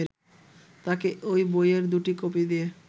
তাঁকে ওই বইয়ের দুটি কপি দিয়ে